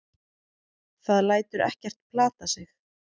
Það lætur ekkert plata sig.